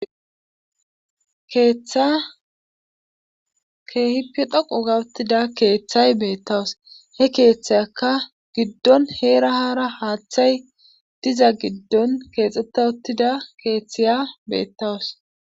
keeththa keehip dhoqu gawuttida keeththay beettawus he keeththeyaka giddon heerahara haaththay diza giddon keexxeta uttida keeththeya beettawus